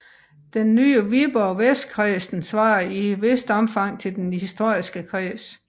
Den nye Viborg Vestkredsen svarer i et vist omfang denne historiske kreds